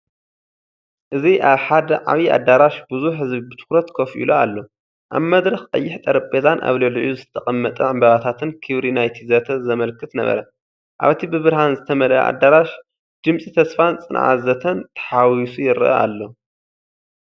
እዚ ኣብ ሓደ ዓቢ ኣዳራሽ ብዙሕ ህዝቢ ብትኹረት ኮፍ ኢሉ ኣሎ፤ ኣብ መድረኽ ቀይሕ ጠረጴዛን ኣብ ልዕሊኡ ዝተቐመጠ ዕምባባታትን ክብሪ ናይቲ ዘተ ዘመልክት ነበረ። ኣብቲ ብብርሃን ዝተመልአ ኣዳራሽ፡ ድምጺ ተስፋን ጸዓት ዘተን ተሓዋዊሱ ይረአ ኣሎ።